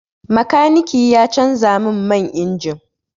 Makaniki ya canza min man injin.